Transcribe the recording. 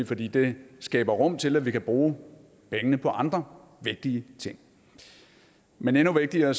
fordi det skaber rum til at vi kan bruge pengene på andre vigtige ting men endnu vigtigere